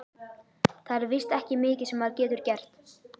Það er víst ekki mikið sem maður getur gert.